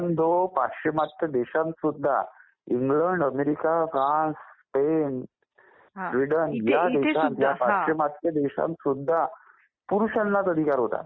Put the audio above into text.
अनेक पाश्चिमात्य देशात सुद्धा England America France Spain Sweden ह्या पाश्चिमात्य देशात सुद्धा पुरुषांनाच अधिकार होता